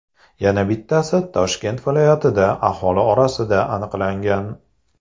Yana bittasi Toshkent viloyatida aholi orasida aniqlangan.